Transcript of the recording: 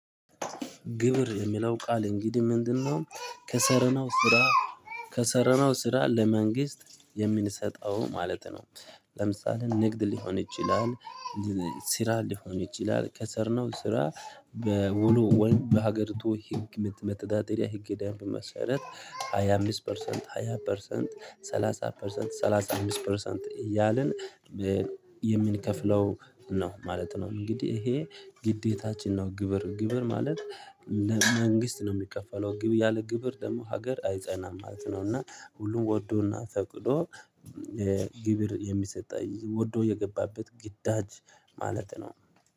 ግብር የሚለው ቃል እንግዲህ ምንድንነው? ከሠራነው ስራ ከሠረናው ስራ ለመንግስት የምንሰጠው ማለት ነው። ለምሳሌ ንግድ ሊሆን ይችላል። ስራ ሊሆን ይችላል ከሠርነው ስራ በውሉ ወይ በሀገሪቱ ህግ መተዳደሪያ ህግ ደንብ መሰረት ሃያ አምስት ፐርሰንት ሃያ ፐርሰንት ሰላሳ ፐርሰንት ሰላሳ አምሰት ፐርሰንት እያልን የምንከፍለው ነው ማለት ነው። እንግዲህ ይሄ ግዴታችን ነው። ግብር ግብር ማለት መንግስት ነው የሚከፈለው ግብር ያለ ግብር ደግሞ ሀገር አይጸናም ማለት ነው። እና ሁሉም ወዶ እና ፈቅዶ የግብር የሚሰጠኝ ወዶ የገባበት ግዳጅ ማለት ነው።